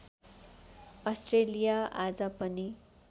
Australia आज पनि